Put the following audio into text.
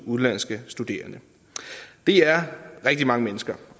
udenlandske studerende det er rigtig mange mennesker